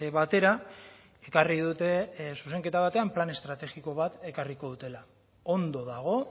batera ekarri dute zuzenketa batean plan estrategiko bat ekarriko dutela ondo dago